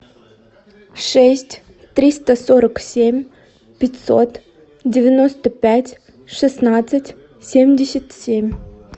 шесть триста сорок семь пятьсот девяносто пять шестнадцать семьдесят семь